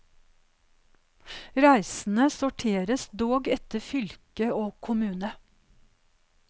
Reisene sorteres dog etter fylke og kommune.